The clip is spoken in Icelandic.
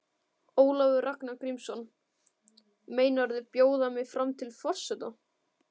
Ólafur Ragnar Grímsson: Meinarðu bjóða mig fram til forseta?